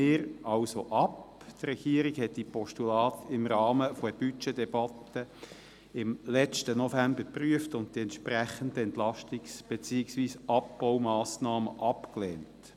Die Regierung hat die Postulate im Rahmen der Budgetdebatte letzten November geprüft und die entsprechenden Entlastungs- beziehungsweise Abbaumassnahmen abgelehnt.